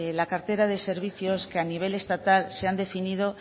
la cartera de servicios que a nivel estatal se han definido